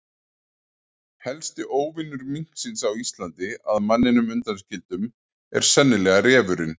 Helsti óvinur minksins á Íslandi, að manninum undanskildum, er sennilega refurinn.